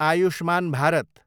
Ayushman Bharat